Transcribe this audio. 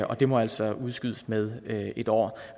det må altså udskydes med med et år